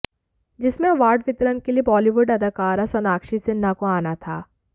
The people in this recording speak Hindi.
जिसमें अवार्ड वितरण के लिए बॉलीवुड अदाकारा सोनाक्षी सिन्हा को आना था